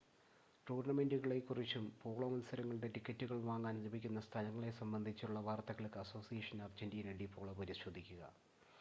ടൂർണ്ണമെൻ്റുകളെ കുറിച്ചും പോളോ മത്സരങ്ങളുടെ ടിക്കറ്റുകൾ വാങ്ങാൻ ലഭിക്കുന്ന സ്ഥലങ്ങളെ സംബന്ധിച്ചുമുള്ള വാർത്തകൾക്ക് അസോസിയേഷൻ അർജൻ്റീന ഡി പോളോ പരിശോധിക്കുക